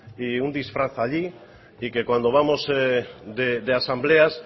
y un disfraz allí y que cuando vamos de asambleas